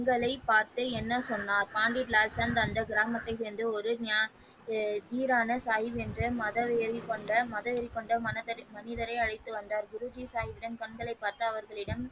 சாகிப்பின் கண்களை பார்த்து என்ன சொன்னார் பண்டிட் லால்சன் அந்த கிராமத்தை சேர்ந்த ஒரு ஞான ஜீராவை சாகிப் என்ற மதவெறி கொண்ட மனிதனை அழைத்து வந்தார் குரு ஜி சாகிப்பின் கண்களைப் பார்த்து அவர்களிடம்.